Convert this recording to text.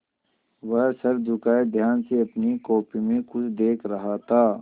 वह सर झुकाये ध्यान से अपनी कॉपी में कुछ देख रहा था